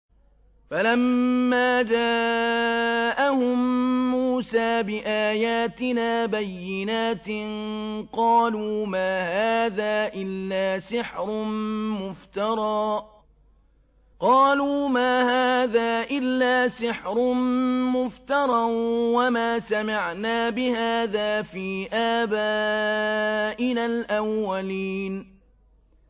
فَلَمَّا جَاءَهُم مُّوسَىٰ بِآيَاتِنَا بَيِّنَاتٍ قَالُوا مَا هَٰذَا إِلَّا سِحْرٌ مُّفْتَرًى وَمَا سَمِعْنَا بِهَٰذَا فِي آبَائِنَا الْأَوَّلِينَ